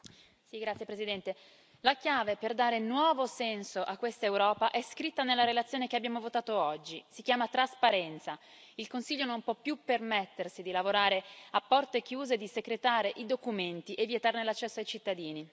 Signora Presidente, onorevoli colleghi, la chiave per dare nuovo senso a questa Europa è scritta nella relazione che abbiamo votato oggi si chiama trasparenza. Il Consiglio non può più permettersi di lavorare a porte chiuse e di secretare i documenti e vietarne l'accesso ai cittadini.